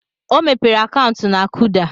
O mepere akaụntụ na Kuda.